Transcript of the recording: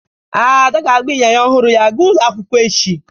Ada ga-agba ịnyịnya ọhụrụ ya gaa ụlọ akwụkwọ echi